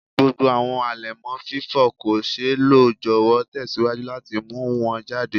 Gbogbo awọn alẹmọ fifọ ko ṣee lo jọwọ tẹsiwaju lati mu wọn jade